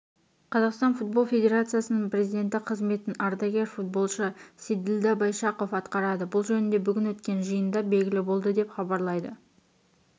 қазақстан футбол федерациясының перзиденті қызметін ардагер футболшы сейділда байшақов атқарады бұл жөнінде бүгін өткен жиында белгілі болды деп хабарлайды